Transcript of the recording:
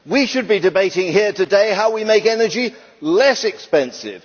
We should be debating here today how we make energy less expensive.